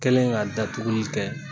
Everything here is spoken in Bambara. Kɛlen ka datuguli kɛ